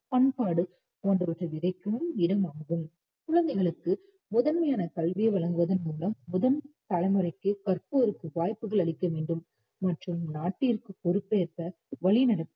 பண்பாடு போன்றவற்றை விதைக்கும் இடம் ஆகும் குழந்தைகளுக்கு முதன்மையான கல்வியை வழங்குவதன் மூலம் முதல் தலைமுறைக்கு கற்போருக்கு வாய்புகள் அளிக்கவேண்டும் மற்றும் நாட்டிற்குப் பொறுப்பேற்க வழிநடத்த